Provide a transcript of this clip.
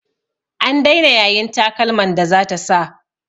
An daina yayin takalman da zata sa.